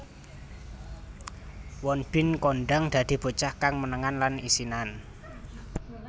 Won Bin kondhang dadi bocah kang menengan lan isinan